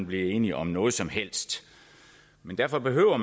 blive enige om noget som helst men derfor behøver